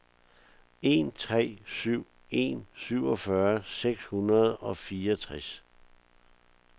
en tre syv en syvogfyrre seks hundrede og fireogtres